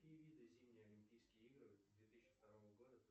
какие виды зимние олимпийские игры две тысячи второго года